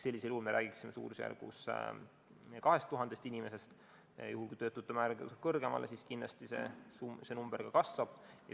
Sellisel juhul me räägiksime suurusjärgus 2000 inimesest, aga kui töötute arv kasvab veelgi, siis kindlasti see number ka kasvab.